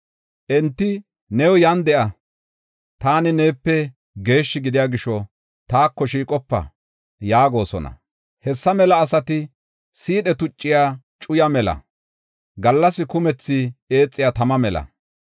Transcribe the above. “Enti, ‘New yan de7a; taani neepe geeshshi gidiya gisho taako shiiqopa!’ yaagosona. Hessa mela asati siidhe tucciya cuyaa mela; gallas kumethi eexiya tama mela.